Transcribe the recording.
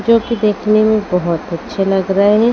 जो कि देखने में बहुत अच्छे लग रहे हैं।